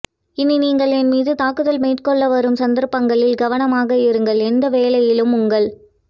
இனி நீங்கள் என்மீது தாக்குதல் மேட்கொள்ள வரும் சந்தர்ப்பங்களில் கவனமாக இருங்கள் எந்த வேளையிலும் உங்கள்